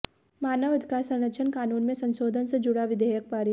मानव अधिकार संरक्षण कानून में संशोधन से जुड़ा विधेयक पारित